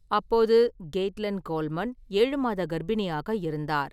அப்போது Caitlin Coleman ஏழு மாத கர்ப்பிணியாக இருந்தார்.